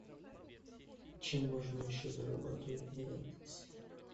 чем можно еще зарабатывать на яндексе